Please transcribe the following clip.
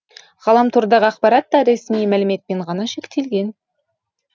ғаламтордағы ақпарат та ресми мәліметпен ғана шектелген